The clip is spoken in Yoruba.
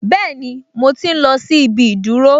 Bẹ́ẹ̀ni, mo tí n lọ sí ibi ìdúró